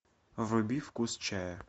вруби вкус чая